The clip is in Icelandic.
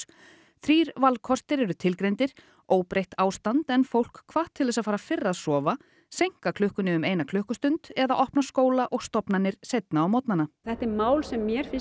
þrír valkostir eru tilgreindir óbreytt ástand en fólk hvatt til að fara fyrr að sofa seinka klukkunni um eina klukkustund eða opna skóla og stofnanir seinna á morgnana þetta er mál sem mér finnst